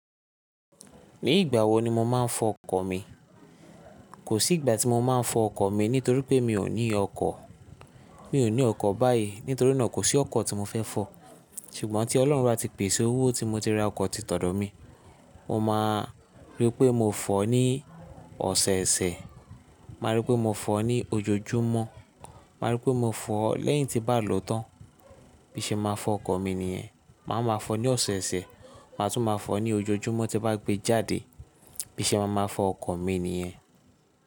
Ní ìgbà wo ni mo máa ń fọ ọkọ̀ mi? Kò sí ìgbà tí mo máa ń fọ ọkọ̀ mi nítorí pé mi ò ní ọkọ̀. Mi ò ní ọkọ̀ báyìí, nítorí náà kò sí ọkọ̀ tí mo fẹ́ fọ̀. Ṣùgbọ́n tí Ọlọ́run bá ti pèsè owó tí mo ti ra ọkọ̀ tí t'ọ̀dọ̀ mi, mo máa rí pé mo fọ̀ ọ́ ní ọ̀sẹ̀ẹ̀sẹ̀, màá rí pé mo fọ̀ ọ́ ní ojoojúmọ́, màá rí pé mo fọ̀ ọ́ lẹ́yìn tí bá lò ó tán. Bí i ṣe maa fọ ọkọ̀ mi nìyẹn. Màá ma fọ̀ ọ́ ní ọ̀sẹ̀ẹ̀sẹ̀, màá tún máa fọ̀ ọ́ ní ojoojúmọ́ tí bá gbé jáde. Bí i ṣe maa ma fọ ọkọ̀ mi nìyẹn.